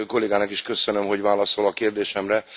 A kollégának is köszönöm, hogy válaszol a kérdésemre!